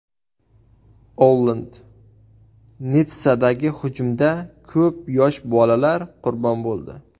Olland: Nitssadagi hujumda ko‘p yosh bolalar qurbon bo‘ldi.